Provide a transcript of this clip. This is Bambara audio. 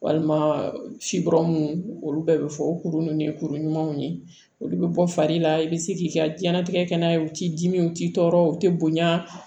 Walima sikɔrɔ minnu olu bɛɛ bɛ fɔ o kuru ninnu ye kuru ɲumanw ye olu bɛ bɔ fari la i bɛ se k'i ka diɲɛnatigɛ kɛ n'a ye u t'i dimi u t'i tɔɔrɔ u tɛ bonya